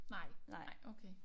Nej nej okay